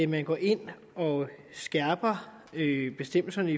man går ind og skærper bestemmelserne